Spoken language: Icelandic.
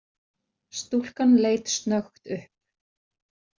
Stúlkan leit snöggt upp.